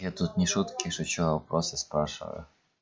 я тут не шутки шучу а вопросы спрашиваю